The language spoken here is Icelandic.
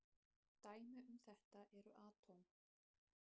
Dæmi um þetta eru atóm.